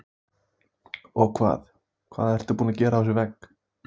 Hugrún Halldórsdóttir: Og hvað, hvað ertu búin að gera á þessum vegg?